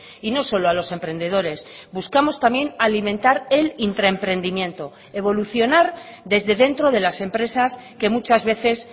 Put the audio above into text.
y no solo a los emprendedores buscamos también alimentar el intraemprendimiento evolucionar desde dentro de las empresas que muchas veces